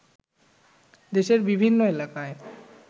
দেশের বিভিন্ন এলাকায়